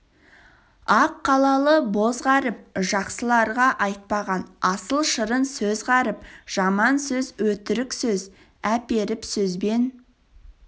ақ қалалы боз ғаріп жақсыларға айтпаған асыл шырын сөз ғаріп жаман сөз өтірік сөз әперіп сөзбен